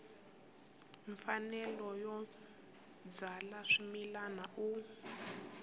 mfanelo yo byala swimila u